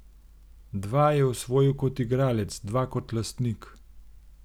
Dva je osvojil kot igralec, dva kot lastnik.